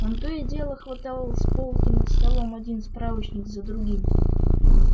он то и дело хватал с полки над столом один справочник за другим